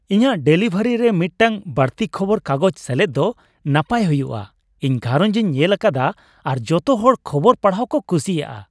ᱤᱧᱟᱹᱜ ᱰᱮᱞᱤᱵᱷᱟᱨᱤᱨᱮ ᱢᱤᱫᱴᱟᱝ ᱵᱟᱹᱲᱛᱤ ᱠᱷᱚᱵᱚᱨ ᱠᱟᱜᱚᱡᱽ ᱥᱮᱞᱮᱫ ᱫᱚ ᱱᱟᱯᱟᱭ ᱦᱩᱭᱩᱜᱼᱟ ! ᱤᱧ ᱜᱷᱟᱨᱚᱸᱡᱽ ᱤᱧ ᱧᱮᱞ ᱟᱠᱟᱫᱟ ᱟᱨ ᱡᱚᱛᱚ ᱦᱚᱲ ᱠᱷᱚᱵᱚᱨ ᱯᱟᱲᱦᱟᱣ ᱠᱚ ᱠᱩᱥᱤᱼᱟ ᱾